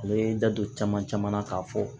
N bɛ n da don caman caman na k'a fɔ